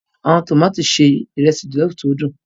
Awọn tomati ṣe iresi jollof ti nhu